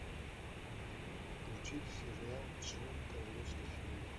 включи сериал члены королевской семьи